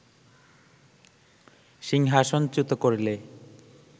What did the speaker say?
সিংহাসনচ্যুত করলে